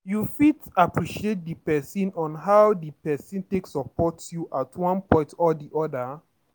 You fit appreciate di person on how di person take support you at one point or di oda